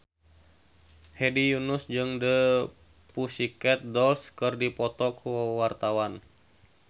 Hedi Yunus jeung The Pussycat Dolls keur dipoto ku wartawan